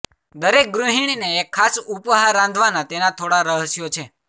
દરેક ગૃહિણીને એક ખાસ ઉપહાર રાંધવાના તેના થોડા રહસ્યો છે